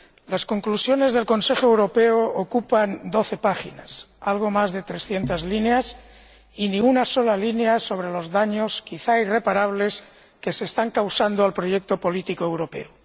Las conclusiones de la reunión del Consejo Europeo ocupan doce páginas, algo más de 300 líneas, y ni una sola línea sobre los daños, quizá irreparables, que se están causando al proyecto político europeo.